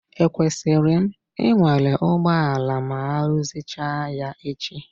Ekwesịrị m ịnwale ụgbọala ma aruzicha ya echi?